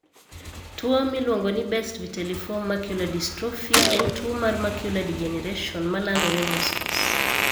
Tuwo miluongo ni Best vitelliform macular dystrophy (BVMD) en tuwo mar macular degeneration ma landore mos mos.